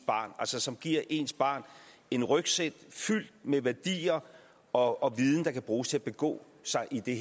barn altså som giver ens barn en rygsæk fyldt med værdier og viden der kan bruges til at begå sig i det